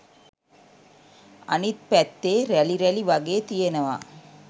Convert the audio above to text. අනිත් පැත්තේ රැලි රැලි වගේ තියෙනවා